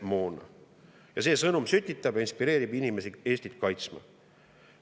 See sõnum, sütitab ja inspireerib inimesi Eestit kaitstama.